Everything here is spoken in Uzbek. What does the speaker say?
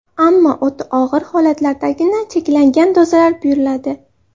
Ammo o‘ta og‘ir holatlardagina cheklangan dozalar buyuriladi.